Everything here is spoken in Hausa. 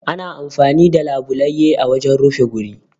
Ana amfani da labulaye a wajen rufe guri